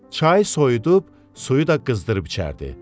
Çayı soyudub, suyu da qızdırıb içərdi.